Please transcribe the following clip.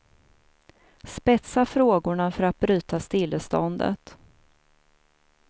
Spetsa frågorna för att bryta stilleståndet.